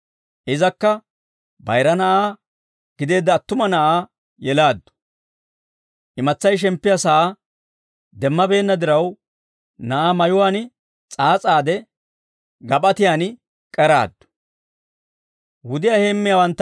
Izakka Bayira Na'aa gideedda attuma Na'aa yelaaddu; imatsay shemppiyaa sa'aa demmabeenna diraw, na'aa mayuwaan s'aas'aade Gap'atiyaan k'eraaddu.